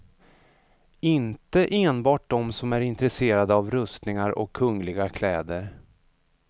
Inte enbart de som är intresserade av rustningar och kungliga kläder.